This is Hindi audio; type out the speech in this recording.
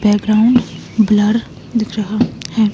बैकग्राउंड ब्लर दिख रहा है।